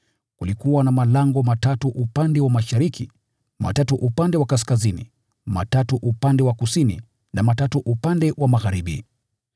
Kulikuwa na malango matatu upande wa mashariki, matatu upande wa kaskazini, matatu upande wa kusini na matatu upande wa magharibi.